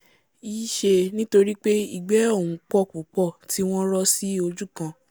yí ṣẹ nítorípé ìgbẹ́ ọ̀hún pọ̀ púpọ̀ tí wọ́n rọ́ sí ojúkan